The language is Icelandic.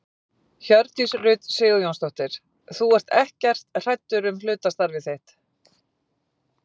Hjördís Rut Sigurjónsdóttir: Þú ert ekkert hræddur um hlutastarfið þitt?